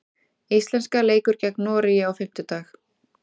Íslenska leikur gegn Noregi á fimmtudag.